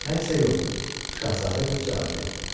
Mən isə yox, Şahzadə qız cavab verdi.